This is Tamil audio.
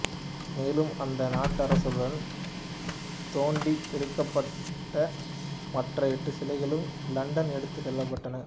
மேலும் அந்த நடராசருடன் தோண்டி எடுக்கப்பட்ட மற்ற எட்டு சிலைகளும் இலண்டன் எடுத்துச் செல்லப்பட்டன